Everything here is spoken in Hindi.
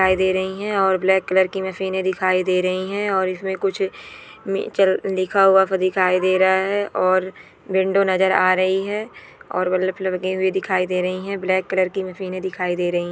दे रही है और ब्लैक कलर की मशीन दिखाई दे रही हैं और इसमें कुछ लिखा हुआ पर दिखाई दे रहा है और विंडो नजर आ रही है और मतलब लगे हुए दिखाई दे रही है ब्लैक कलर की मशीन दिखाई दे रही --